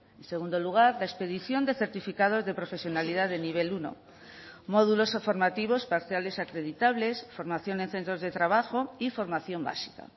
en segundo lugar de expedición de certificados de profesionalidad de nivel uno módulos formativos parciales acreditables formación en centros de trabajo y formación básica